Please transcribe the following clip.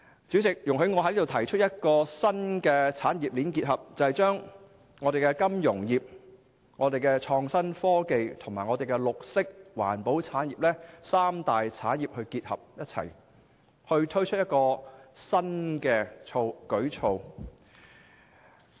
主席，我想提出一個新產業鏈結合，便是將香港的金融業、創新科技和綠色環保產業，這三大產業結合起來並推出新的舉措。